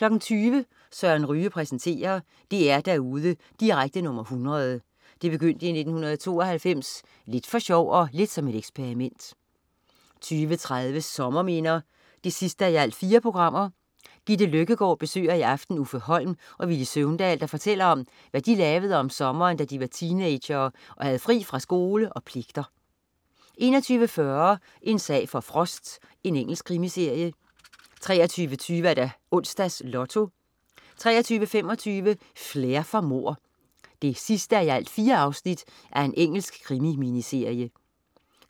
20.00 Søren Ryge præsenterer. DR-derude direkte nr. 100. Det begyndte i 1992, lidt for sjov og lidt som et eksperiment 20.30 Sommerminder 4:4. Gitte Løkkegård besøger i aften Uffe Holm og Villy Søvndal, der fortæller om, hvad de lavede om sommeren, da de var teenagere og havde fri fra skole og pligter 21.40 En sag for Frost. Engelsk krimiserie 23.20 Onsdags Lotto 23.25 Flair for mord 4:4. Engelsk krimi-miniserie